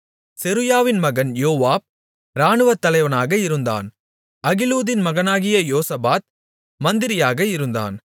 செருயாவின் மகன் யோவாப் இராணுவத்தலைவனாக இருந்தான் அகிலூதின் மகனாகிய யோசபாத் மந்திரியாக இருந்தான்